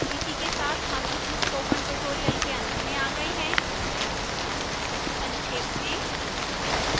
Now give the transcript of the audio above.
इसी के साथ हम इस spoken tutorial के अंत में आ गए हैं संक्षेप में